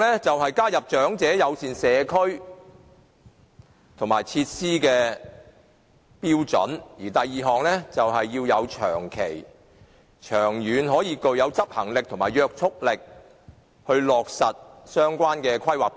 第一，加入長者友善社區及設施的標準；第二，要有長期、長遠的執行力及約束力來落實相關的《規劃標準》。